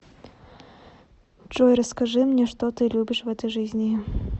джой расскажи мне что ты любишь в этой жизни